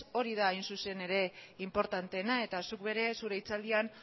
hori da hain zuzen ere inportanteena eta zuk zure hitzaldian